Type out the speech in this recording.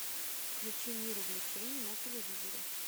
включи мир увлечений на телевизоре